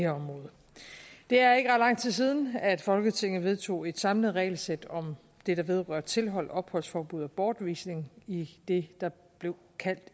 er ikke ret lang tid siden at folketinget vedtog et samlet regelsæt om det der vedrører tilhold opholdsforbud og bortvisning i det der blev kaldt